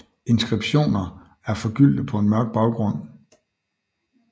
Inskriptioner er forgyldte på en mørk baggrund